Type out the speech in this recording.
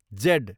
Z